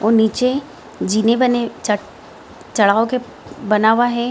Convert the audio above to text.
वो नीचे जीने बने चढ़ाव को बना हुआ है।